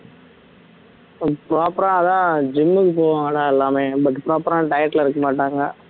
proper ஆ அதான் gym க்கு போவாங்கடா எல்லாமே but proper ஆ diet ல இருக்க மாட்டாங்க